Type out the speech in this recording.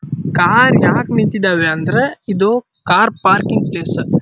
Car ಯಾಕ ನಿಂತಿದ್ದವೇ ಅಂದ್ರೆ ಇದು ಕಾರ್ ಪಾರ್ಕಿಂಗ್ ಪ್ಲೇಸ್ .